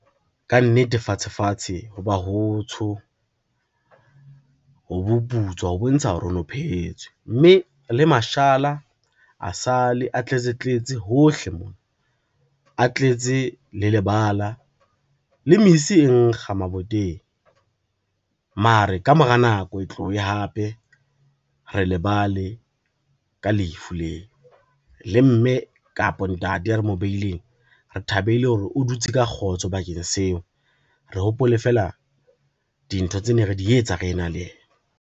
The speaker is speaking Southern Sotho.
Ka nnete fatshe fatshe ho ba hotsho, ho boputswa ho bontsha hore ho no phehetswe, mme le mashala a sa le a tletse tletse hohle mona, a tletse le lebala le mesi e nkga maboteng, mare ka mora nako e tlohe hape re lebale ka lefu leo. Le mme kapa ntate e re mobileng, re thabele hore o dutse ka kgotso bakeng seo, re hopole fela dintho tse neng re di etsa ha re na le yena.